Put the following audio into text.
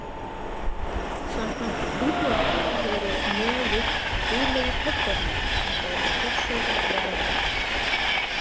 Samkvæmt hindúatrú eru nögur guðlegir höggormar sem gæta fjársjóða jarðarinnar.